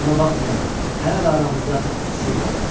Buna baxmayaraq, hələ də aramızda sirr qalırdı.